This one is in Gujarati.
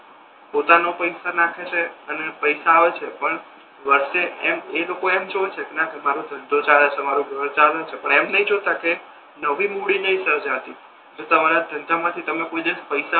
પોતાના પૈસા નાખે છે અને પૈસા આવે છે પણ વચ્ચે એમ એ લોકો એમ જોવે છે કે ના કે મારો ધંધો ચાલે છે મારુ ઘર ચાલે છે પણ એમ નથી જોતા કે નવી મૂડી નથી સર્જાતી એટલે તમારા ધંધા માથી તમને કોઈ દિવસ પૈસા